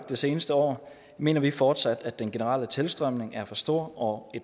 det seneste år mener vi fortsat at den generelle tilstrømning er for stor og